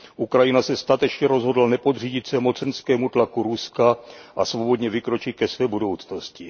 Ukrajina se statečně rozhodla nepodřídit se mocenskému tlaku Ruska a svobodně vykročit ke své budoucnosti.